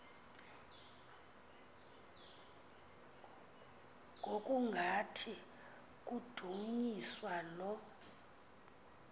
ngokungathi kudunyiswa lo